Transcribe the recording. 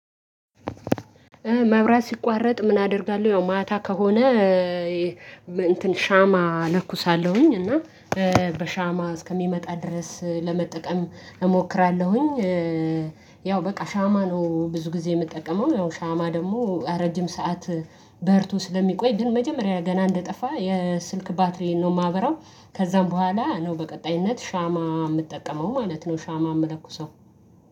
መብራት ሲቋረጥ ምን አደርጋለሁ ያው ማታ ከሆነ እንትን ሻማ ለኩሳለሁኝ እና በሻማ እስከሚመጣ ድረስ ለመጠቀም እሞክራለሁኝ። ያው በቃ ሻማ ነው ብዙ ጊዜ የምጠቀመው ያው ሻማ ደግሞ ረጅም ሰዓት በርቶ ስለሚቆይ ግን መጀመሪያ ገና እንደጠፋ የስልክ ባትሪዬን ነው ማበራው ከዛም በኋላ ነው በቀጣይነት ሻማ የምጠቀመው ማለት ነው። ሻማ የምለኩሰው